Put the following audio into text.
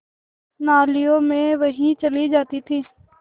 नालियों में बही चली जाती थी